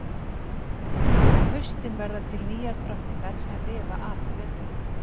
Á haustin verða til nýjar drottningar sem lifa af veturinn.